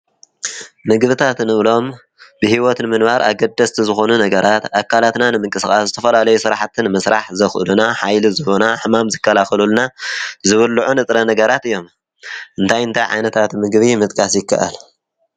ምግብታት ንብሎም ብሂወት ንምንባር ኣገደስቲ ዝኮኑ ነገራት ኣካላትና ንምነቅስቃስ ዝተፈላለዩ ስርሓቲ ንምስራሕ ዘክእሉና ሓይሊ ዝህቡና ሕማም ዝከላከሉልና ዝቡልዑ ንጥረ ነገራት እዮም ።እንታይ እንታይ ዓይነት ምግቢ ምጥቃስ ይካኣል?